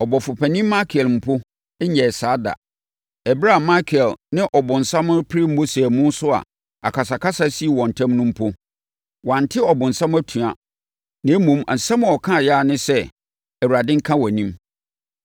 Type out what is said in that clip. Ɔbɔfopanin Mikael mpo nyɛɛ saa da. Ɛberɛ a Mikael ne ɔbonsam repere Mose amu so a akasakasa sii wɔn ntam no mpo, wante ɔbonsam atua, na mmom, asɛm a ɔkaeɛ ara ne sɛ, “Awurade nka wʼanim.”